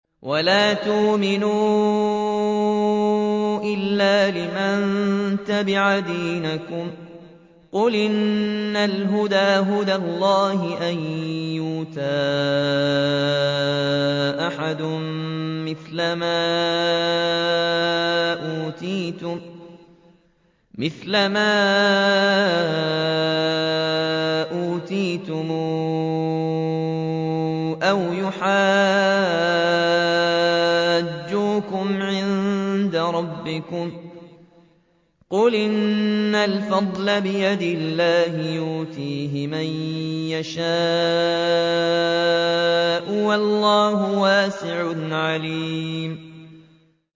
وَلَا تُؤْمِنُوا إِلَّا لِمَن تَبِعَ دِينَكُمْ قُلْ إِنَّ الْهُدَىٰ هُدَى اللَّهِ أَن يُؤْتَىٰ أَحَدٌ مِّثْلَ مَا أُوتِيتُمْ أَوْ يُحَاجُّوكُمْ عِندَ رَبِّكُمْ ۗ قُلْ إِنَّ الْفَضْلَ بِيَدِ اللَّهِ يُؤْتِيهِ مَن يَشَاءُ ۗ وَاللَّهُ وَاسِعٌ عَلِيمٌ